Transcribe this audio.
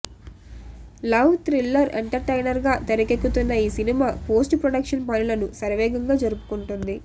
love thriller ఎంటర్టైనర్గా తెరకెక్కుతున్న ఈ సినిమా పోస్ట్ ప్రొడక్షన్ పనులను శరవేగంగా జరుపుకుంటోంది